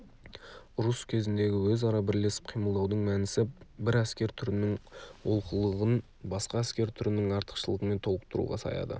ұрыс кезіндегі өзара бірлесіп қимылдаудың мәнісі бір әскер түрінің олқылығын басқа әскер түрінің артықшылығымен толықтыруға саяды